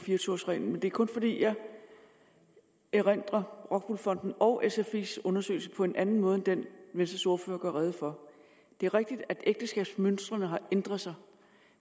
fire og tyve års reglen men det er kun fordi jeg erindrer rockwool fondens og sfis undersøgelse på en anden måde end den venstres ordfører gør rede for det er rigtigt at ægteskabsmønstrene har ændret sig